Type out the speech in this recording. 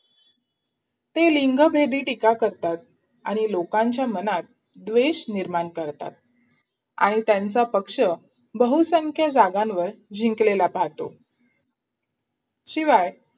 ते लिंगभेदी टीका करतात, लोकांच्या मनात द्वेष निर्माण करता आणि त्यांचा पक्ष बहुसंख्य जागांवर जिंकलेला पाहतो शिवाय